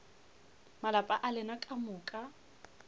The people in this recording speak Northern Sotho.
malapa a lena ka moka